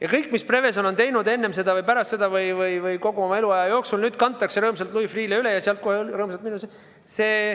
Aga kõik, mis Prevezon on teinud enne või pärast seda või kogu oma eluaja jooksul, kantakse nüüd rõõmsalt Louis Freeh'le üle.